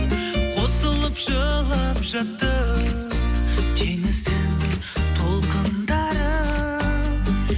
қосылып жылап жатты теңіздің толқындары